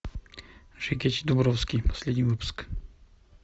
жекич дубровский последний выпуск